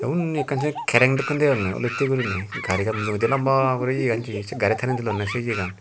unni ekkan se kereng dokke degonge olotte guriney garigan mujungedi lamba guri iyan jeye se gaari tani tulonde se iyayan.